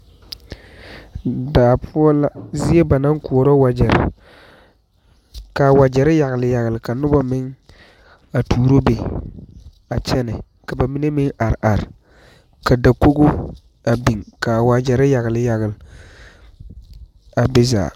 Daa poɔ la zie ba naŋ koɔrɔ wagyɛre kaa wagyɛre yagele yagele ka noba mine a tuuro be a kyɛne ka ba mine. meŋ are are ka dakogi a biŋ ka wagyɛre yagele yagele a be zaa.